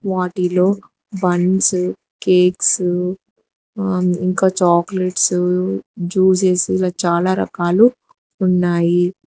వాటిలో buns cakes ఆ ఇంకా చాక్లెట్సు జ్యూసెస్సు ఇలా చాలా రకాలు ఉన్నాయి.